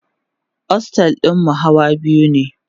ostel ɗinmu Hawa biyu ne